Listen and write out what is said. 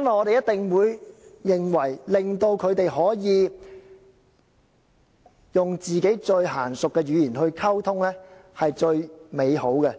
因為我們一定會認為，令到他們可以用最熟習的語言溝通是最美好的。